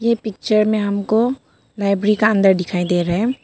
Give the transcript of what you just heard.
ये पिक्चर में हमको लाइब्रेरी का अंदर दिखाई दे रहा है।